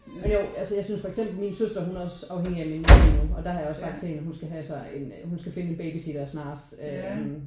Jo altså jeg synes for eksempel min søster hun er også afhængig af min mor og der har jeg også sagt til hende at hun skal have sig en hun skal finde sig en babysitter snarest øh